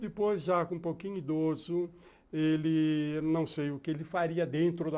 Depois já com um pouquinho idoso ele não sei o que ele faria dentro da